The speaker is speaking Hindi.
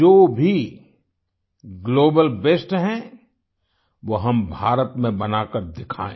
जो भी ग्लोबल बेस्ट है वो हम भारत में बनाकर दिखायें